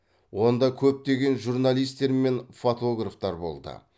онда көптеген журналистер мен фотографтар болды